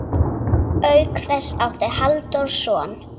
Auk þess átti Halldór son.